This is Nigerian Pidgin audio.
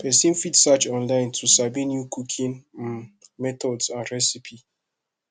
persin fit search online to sabi new cooking um methods and recipe